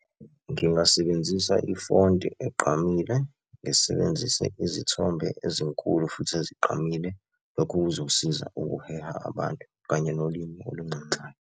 Ngingasebenzisa ifonti egqamile, ngisebenzise izithombe ezinkulu futhi ezigqamile. Lokho kuzosiza ukuheha abantu kanye nolimi olunxenxayo.